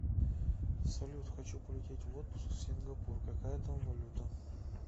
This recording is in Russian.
салют хочу полететь в отпуск в сингапур какая там валюта